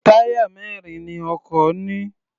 Táyà mẹrin ni ọkọ̀ ní.